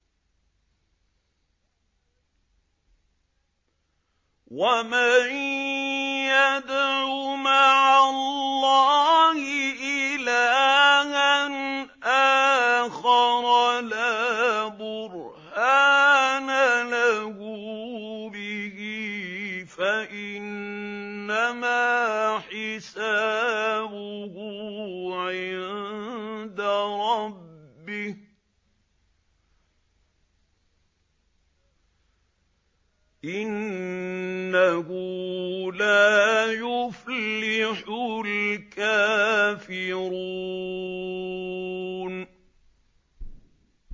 وَمَن يَدْعُ مَعَ اللَّهِ إِلَٰهًا آخَرَ لَا بُرْهَانَ لَهُ بِهِ فَإِنَّمَا حِسَابُهُ عِندَ رَبِّهِ ۚ إِنَّهُ لَا يُفْلِحُ الْكَافِرُونَ